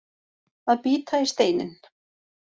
Að bíta í steininn